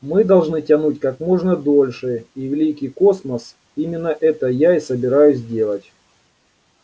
мы должны тянуть как можно дольше и великий космос именно это я и собираюсь делать